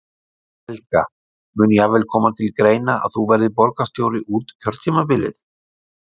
Helga: Mun jafnvel koma til greina að þú verðir borgarstjóri út kjörtímabilið?